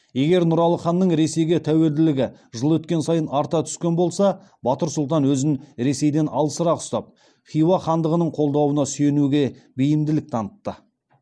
егер нұралы ханның ресейге тәуелділігі жыл өткен сайын арта түскен болса батыр сұлтан өзін ресейден алысырақ ұстап хиуа хандығының қолдауына сүйенуге бейімділік танытады